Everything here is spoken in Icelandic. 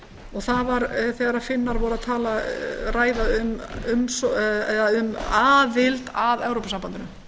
og það er þegar finnar voru að ræða um aðild að evrópusambandinu